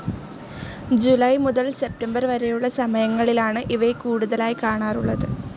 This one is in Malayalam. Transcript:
ജൂലൈ മുതൽ സെപ്റ്റംബർ വരെയുള്ള സമയങ്ങളിലാണ് ഇവയെ കൂടുതലായി കാണാറുള്ളത്.